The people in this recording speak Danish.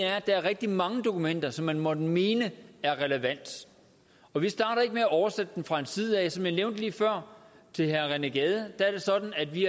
er at der er rigtig mange dokumenter som man måtte mene er relevante og vi starter ikke med at oversætte dem fra en side af som jeg nævnte lige før til herre rené gade er det sådan at vi